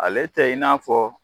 Ale tɛ i n'a fɔ